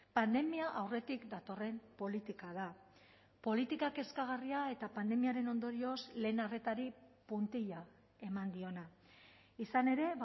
pandemia aurretik datorren politika da politika kezkagarria eta pandemiaren ondorioz lehen arretari puntilla eman diona izan ere